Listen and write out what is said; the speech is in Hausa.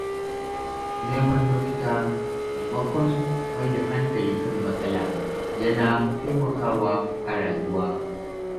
Neman mafita maimakon mai da hankali kan matsala yana taimakawa a rayuwa.